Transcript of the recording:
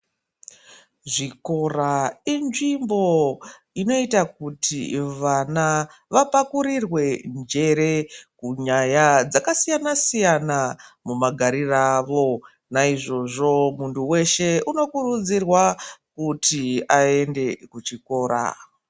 Zvikora inzvimbo inoita kuti vana vapakurirwe njere munyaya dzakasiyana siyana mumagariro awo naizvozvo muntu weshe unokurudzirwa kuti aende kuchikora.